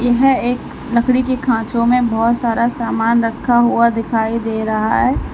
यह एक लकड़ी के खांचों में बहोत सारा सामान रखा हुआ दिखाई दे रहा है।